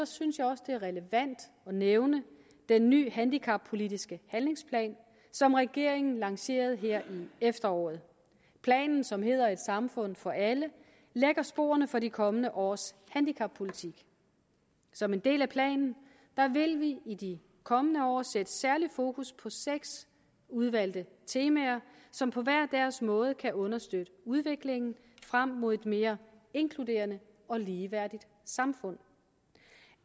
synes jeg også det er relevant at nævne den nye handicappolitiske handlingsplan som regeringen lancerede her i efteråret planen som hedder et samfund for alle lægger sporene for de kommende års handicappolitik som en del af planen vil vi i de kommende år sætte særligt fokus på seks udvalgte temaer som på hver deres måde kan understøtte udviklingen frem mod et mere inkluderende og ligeværdigt samfund